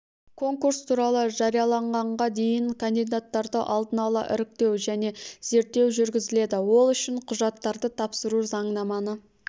конкурс туралы жарияланғанға дейін кандидаттарды алдын ала іріктеу және зерттеу жүргізіледі ол үшін құжаттарды тапсыру заңнаманы